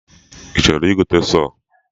I chọrọ igote sọọ?